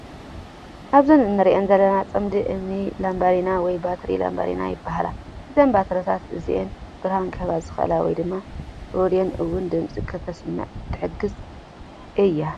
ኣብዚ እንሪኣን ዘለና ፅምዲ እምኒ ላባዲና ወይ ባትሪ ላባዲና ይበሃላ። እዞም ባትሪታት እዚኦም ብርሃን ክህቡ ዝኽሉ ወይ ድማ ሬድዮን እውን ድምፂ ከተስምዕ ትሕግዝ እያ።